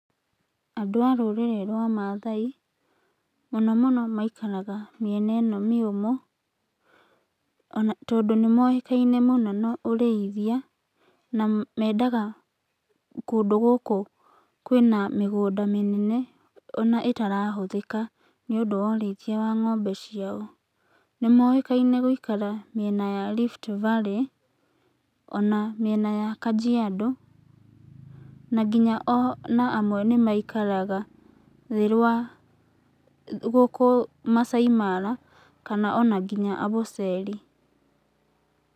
Andũ a rũrĩrĩ rwa Maathai mũno mũno maikaraga mĩena ĩno mĩũmũ, tondũ nĩ moĩkaine mũno na ũrĩithia ,na mendaga kũndũ gũkũ kwĩna mĩgũnda mĩnene ona ĩtarahũthĩka nĩ ũndũ wa ũrĩithia wa ng'ombe ciao. Nĩ moĩkaine gũikara mĩena ya Rift Valley, ona mĩena ya Kajiando, na nginya ona amwe nĩ maikaraga thĩ rwa gũkũ Maasai Mara, kana ona nginya Amboseli.